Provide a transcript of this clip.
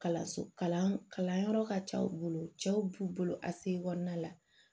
Kalanso kalanyɔrɔ ka ca u bolo cɛw b'u bolo a sen kɔnɔna la